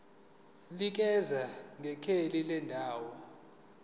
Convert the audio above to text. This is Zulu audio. nikeza ngekheli lendawo